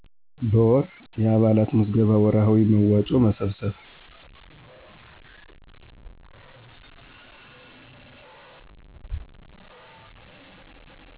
በወር። የአባላት ምዝገባ ወርሀዊ መዋጮ መሰብሰብ